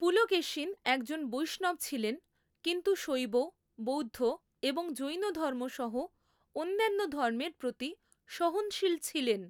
পুলকেশিন একজন বৈষ্ণব ছিলেন, কিন্তু শৈব, বৌদ্ধ এবং জৈন ধর্ম সহ অন্যান্য ধর্মের প্রতি সহনশীল ছিলেন।